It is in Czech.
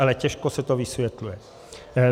Ale těžko se to vysvětluje.